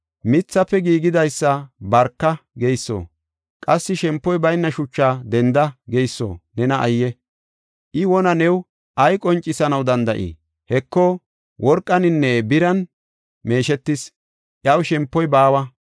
Mithafe giigidaysa ‘Barka’ geyso, qassi shempoy bayna shuchaa ‘Denda’ geyso nena ayye! I wona new ay qoncisanaw danda7ii? Heko, worqaninne biran meeshetis; iyaw shempoy baawa.